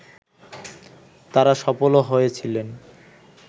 তাঁরা সফলও হয়েছিলেন